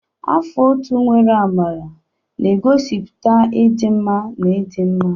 Afọ ọtú nwere amara na-egosipụta ịdị mma na ịdị mma.